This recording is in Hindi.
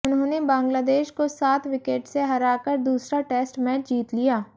उन्होंने बांग्लादेश को सात विकेट से हराकर दूसरा टेस्ट मैच जीत लिया